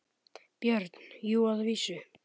BJÖRN: Jú, að vísu.